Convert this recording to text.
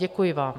Děkuji vám.